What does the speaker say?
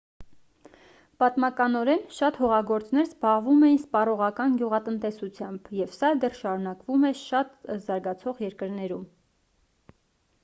պատմականորեն շատ հողագործներ զբաղվում էին սպառողական գյուղատնտեսությամբ և սա դեռ շարունակվում է շատ զարգացող երկրներում